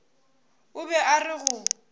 o be a re go